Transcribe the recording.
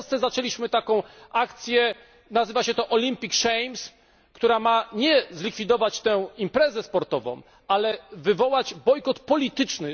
W Polsce zaczęliśmy taką akcję nazywa się to Olympic Shames która nie ma zlikwidować tej imprezy sportowej, ale wywołać jej bojkot polityczny.